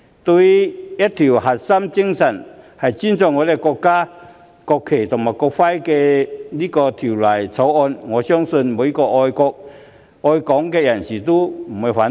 對於這項以尊重我們國家國旗和國徽為核心精神的《條例草案》，我相信每一名愛國愛港人士都不會反對。